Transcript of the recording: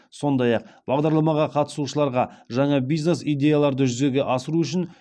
сондай ақ бағдарламаға қатысушыларға жаңа бизнес идеяларды жүзеге асыру үшін